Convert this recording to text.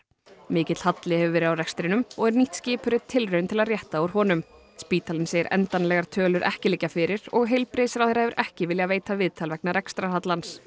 mikill halli hefur verið á rekstrinum og er nýtt skipurit tilraun til að rétta úr honum spítalinn segir endanlegar tölur ekki liggja fyrir og heilbrigðisráðherra hefur ekki viljað veita viðtal vegna